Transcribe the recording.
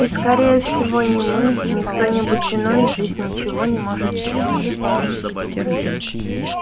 и скорее всего ни мы ни кто-нибудь иной здесь ничего не может сделать